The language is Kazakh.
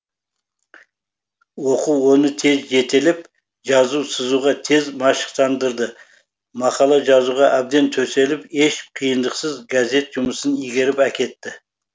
оқу оны тез жетелеп жазу сызуға тез машықтандырды мақала жазуға әбден төселіп еш қиындықсыз газет жұмысын игеріп әкетті